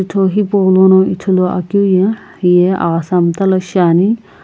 jutho hipaulono ithuluakeu ye hiye aghasa mtala shiani.